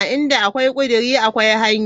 Inda akwai kudiri akwai hanya.